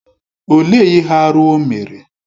Olee ihe arụ o mere?